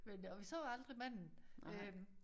Men og vi så aldrig manden øh